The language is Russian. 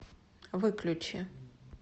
выключи